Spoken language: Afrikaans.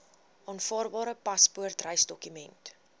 aanvaarbare paspoort reisdokument